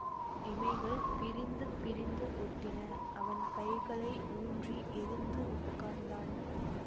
இமைகள் பிரிந்து பிரிந்து ஒட்டின அவன் கைகளை ஊன்றி எழுந்து உட்கார்ந்தான்